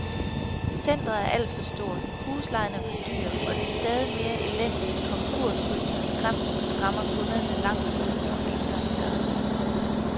Centret er alt for stort, huslejen for dyr, og det stadig mere elendige konkursry har skræmt og skræmmer kunderne langt uden om indgangsdøren.